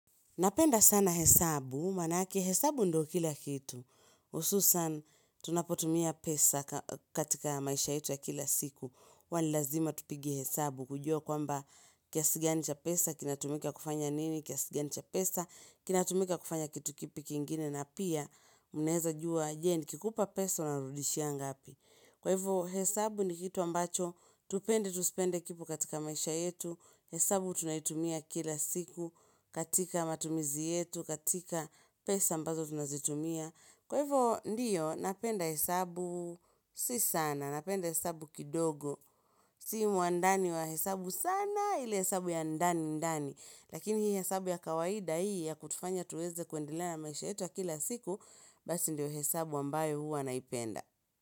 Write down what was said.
Napenda sana hesabu, manake hesabu ndo kila kitu. Hususan, tunapotumia pesa katika maisha yetu ya kila siku. Huwa nilazima tupige hesabu kujua kwamba kiasi gani cha pesa, kinatumika kufanya nini, kiasi gani cha pesa, kinatumika kufanya kitu kipi kingine na pia mneza jua, je, nikikupa pesa unanirudishia ngapi. Kwa hivyo hesabu ni kitu ambacho, tupende tusipende kipo katika maisha yetu, hesabu tunaitumia kila siku, katika matumizi yetu, katika pesa ambazo tunazitumia. Kwa hivyo ndiyo, napenda hesabu si sana, napenda hesabu kidogo, si muandani wa hesabu sana ili hesabu ya ndani ndani. Lakini hii hesabu ya kawaida hii ya kutufanya tuweze kuendele na maisha yetu wa kila siku, basi ndiyo hesabu ambayo hua naipenda.